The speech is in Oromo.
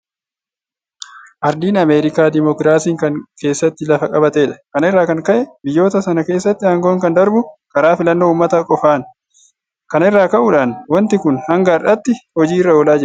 Aardiin ameerikaa dimokiraasiin kan keessatti lafa qabatedha. Kana irraa kan ka'e biyyoota sana keessatti aangoon kan darbu karaa filannoo uummataa qofaani. Kana irraa ka'uidhaan waanti kun hanga har'aatti hojii irra oolaa jira.